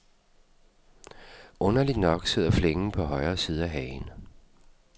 Underligt nok sidder flængen på højre side af hagen.